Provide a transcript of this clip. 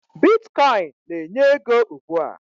Bitkọịn na-enye ego ugbua